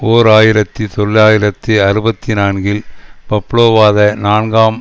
ஓர் ஆயிரத்தி தொள்ளாயிரத்தி அறுபத்தி நான்கில் பப்லோவாத நான்காம்